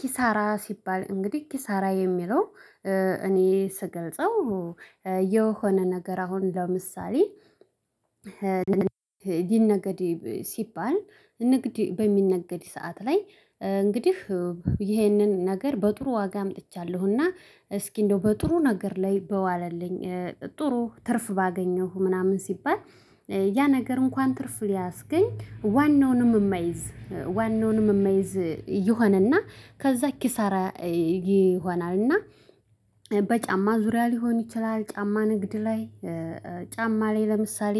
ኪሳራ ሲባል እንግዲህ ኪሳራ የሚለው እኔ ስገልጸው የሆነ ነገር አሁን ለምሳሌ ይነገድ ሲባል ንግድ በሚነገድ ሰዓት ላይ እንግዲህ ይህንን ነገር በጥሩ ዋጋ አምጥቻለሁና እስኪ እንደው በጥሩ ነገር ላይ በዋለልኝ ጥሩ ትርፍ ባገኘሁ ምናምን ሲባል ያ ነገር እንኳን ትርፍ ሊያስገኝ ዋናውንም እማይዝ ዋናውንም የማይዝ ይሆንና ከዛ ኪሳራ። ይሆናል። እና በጫማ ዙሪያ ሊሆን ይችላል ጫማ ንግድ ላይ ጫማ ላይ ለምሳሌ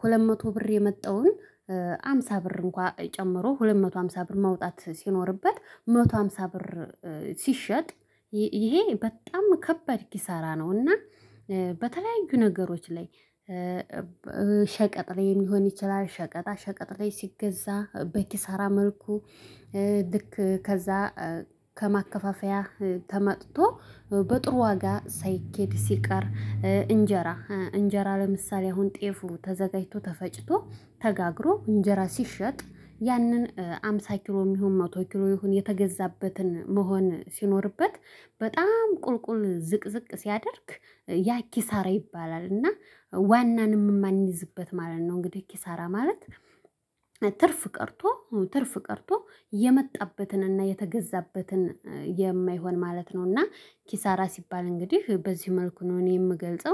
ሁለት መቶ ብር የመጣውን ሃምሳ ብር እንኳን ጨምሮ ሁለት መቶ ሃምሳ ብር መውጣት ሲኖርበት መቶ ሃምሳ ብር። ሲሸጥ ይሄ በጣም ከባድ ኪሳራ ነው። እና በተለያዩ ነገሮች ላይ ሸቀጥ ላይ ሊሆን ይችላል ሸቀጣ ሸቀጥ ላይ ሲገዛ በኪሳራ መልኩ። ልክ ከዛ ከማከፋፈያ ተመጥቶ በጥሩ ዋጋ ሳይኬድ ሲቀር እንጀራ እንጀራ ለምሳሌ አሁን ጤፉ ተዘጋጅቶ ተፈጭቶ ተጋግሮ እንጀራ ሲሸጥ ያንን አምሳ ኪሎ የሚሆን መቶ ኪሎ ይሁን የተገዛበትን መሆን ሲኖርበት በጣም ቁልቁል ዝቅዝቅ ሲያደርግ ያ ኪሳራ ይባላል። እና ዋናንም የማንይዝበት ማለት ነው። እንግዲህ ኪሳራ ማለት ትርፍ ቀርቶ ትርፍ ቀርቶ የመጣበትን እና የተገዛበትን የማይሆን ማለት ነው። እና ኪሳራ ሲባል እንግዲህ በዚህ መልኩ ነው እኔ የምገልጸው